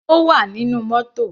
Ó wà nínú mótò.